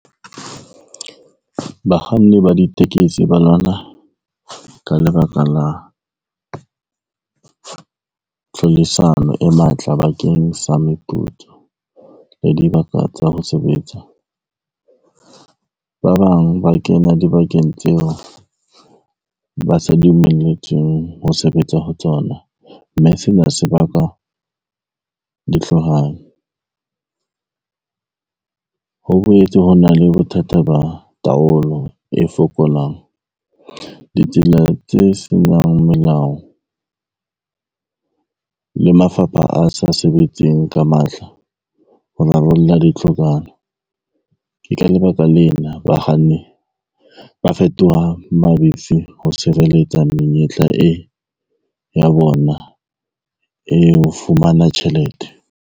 Bakganni ba ditekesi ba lwana ka lebaka la tlhodisano e matla bakeng sa meputso le dibaka tsa ho sebetsa. Ba bang ba kena dibakeng tseo ba sa dumelletsweng ho sebetsa ho tsona, mme sena se baka dihlohano. Ho boetse ho na le bothata ba taolo e fokolang, ditsela tse senang melao le mafapha a sa sebetseng ka matla ho rarolla dihlohano. Ke ka lebaka lena bakganni ba fetoha mabifi ho sireletsa menyetla e ya bona e ho fumana tjhelete.